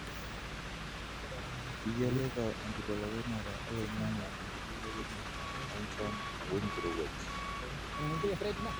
kithialita enkibelekenyata oloingange enkibelekenyata enchan wenkirowuaj.